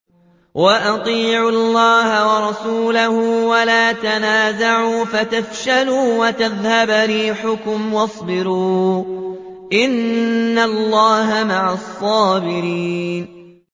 وَأَطِيعُوا اللَّهَ وَرَسُولَهُ وَلَا تَنَازَعُوا فَتَفْشَلُوا وَتَذْهَبَ رِيحُكُمْ ۖ وَاصْبِرُوا ۚ إِنَّ اللَّهَ مَعَ الصَّابِرِينَ